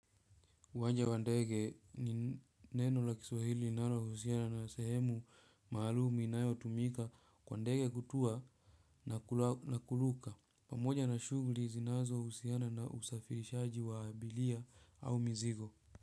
Uwanja wa ndege ni neno la Kiswahili linalohusiana na sehemu maalum inayotumika kwa ndege kutua na kuruka. Pamoja na shughuli zinazohusiana na usafirishaji wa abiria au mizigo.